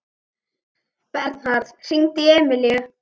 Bernharð, hringdu í Emilíu.